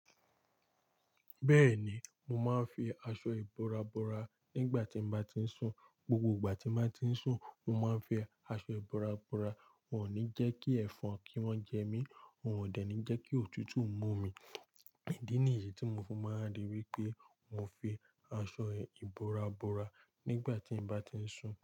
Bẹ́ẹ̀ni, mo máa ń fi aṣọ ìbora bora nígbà tí m bá ti ń sùn. Gbogbo ìgbà tí mo bá ti ń sùn, mo máa ń fi aṣọ ìbora bora. Wọn ní jẹ́ kí ẹ̀fọn kí wọ́n jẹ mí, wọ́n ò dẹ̀ ní jẹ́ kí òtútù mú mi. Ìdí nìyí tí mo fún máa ń rí wípé, mo fi aṣọ ìbora bora nígbà tí m bá ti ń sùn.